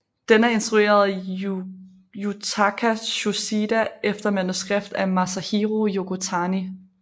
Den er instrueret af Yutaka Tsuchida efter manuskript af Masahiro Yokotani